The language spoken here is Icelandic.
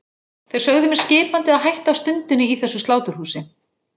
Þeir sögðu mér skipandi að hætta á stundinni í þessu sláturhúsi.